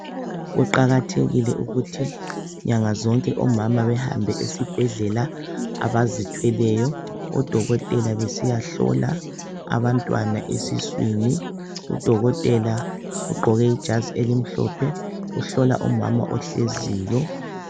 Kuqakathekile ukuthi nyanga zonke omama behambe esibhedlela abazithweyo odokotela besiyahlola abantwana esiswini udokotela ugqoke ijazi elimhlophe uhlola umama ohleziyo.